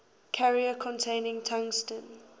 carrier contains tungsten